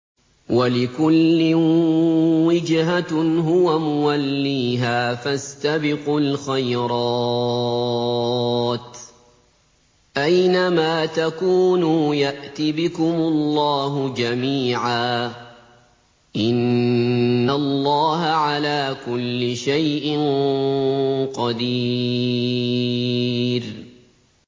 وَلِكُلٍّ وِجْهَةٌ هُوَ مُوَلِّيهَا ۖ فَاسْتَبِقُوا الْخَيْرَاتِ ۚ أَيْنَ مَا تَكُونُوا يَأْتِ بِكُمُ اللَّهُ جَمِيعًا ۚ إِنَّ اللَّهَ عَلَىٰ كُلِّ شَيْءٍ قَدِيرٌ